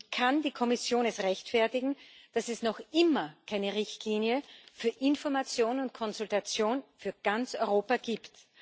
Wie kann die Kommission es rechtfertigen, dass es noch immer keine Richtlinie für Information und Konsultation für ganz Europa gibt?